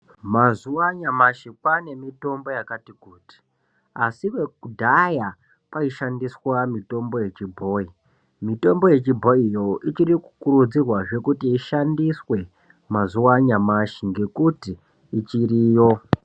Mazuwanyamashe kwanemitombo yakati kuti. Asi wo kudaya, kwayishandiswa mitombo yechibhoyi. Mitombo yechibhoyiyo ichirikukurudzirwazve kuti ishandiswe mazuwanyamashe ngekuti ichiriyo.